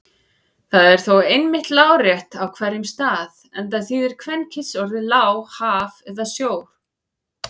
Það er þó einmitt lárétt á hverjum stað enda þýðir kvenkynsorðið lá haf eða sjór.